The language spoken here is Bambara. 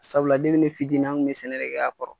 Sabula depi ne fitini an kun be sɛnɛ de kɛ ka kɔrɔ